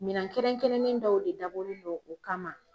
Minan kɛrɛnkɛrɛnnen dɔw de dabɔlen no o kama.